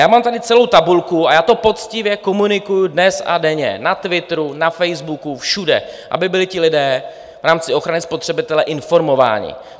Já mám tady celou tabulku a já to poctivě komunikuju dnes a denně na Twitteru, na Facebooku, všude, aby byli ti lidé v rámci ochrany spotřebitele informováni.